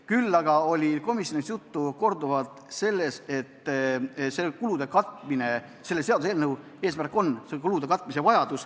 Küll oli komisjonis korduvalt juttu sellest, et selle seaduseelnõu eesmärk on kulude katmine.